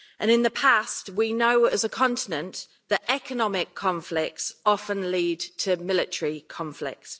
In the past, we know as a continent that economic conflicts often lead to military conflicts.